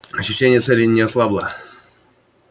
ощущение цели не ослабло